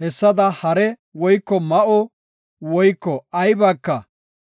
Hessada hare woyko ma7o woyko aybaka